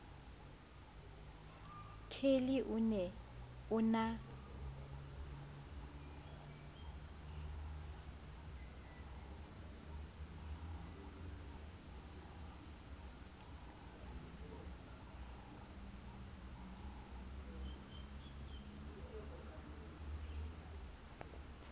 kelly o ne o na